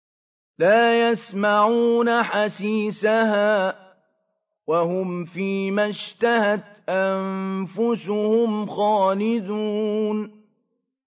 لَا يَسْمَعُونَ حَسِيسَهَا ۖ وَهُمْ فِي مَا اشْتَهَتْ أَنفُسُهُمْ خَالِدُونَ